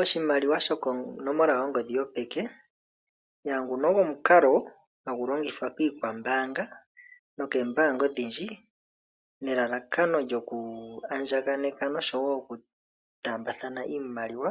Oshimaliwa sho konomola yongodhi yopeke ogo omukalo hagu longithwa kiikwambaanga nokoombanga odhindji nelalakano lyoku andjakaneka, noshowo okutambathana iimaliwa